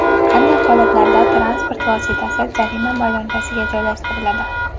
Qanday holatlarda transport vositasi jarima maydonchasiga joylashtiriladi?.